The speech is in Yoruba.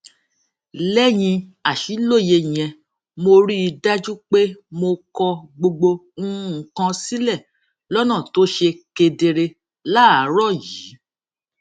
léyìn àṣìlóye yẹn mo rí i dájú pé mo kọ gbogbo nǹkan sílè lónà tó ṣe kedere láàárò yìí